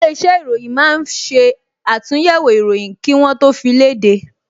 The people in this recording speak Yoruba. Ilé-iṣẹ́ ìròyìn máa ń ṣe àtúnyẹ̀wò ìròyìn kí wọ́ tó fi léde